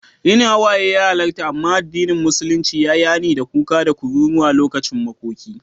Yin hawaye ya halarta, amma addinin musulunci ya yi hani da kuka da kururuwa lokacin makoki.